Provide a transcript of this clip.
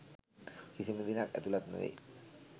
කිසිම දිනක ඇතුළත් නොවේ.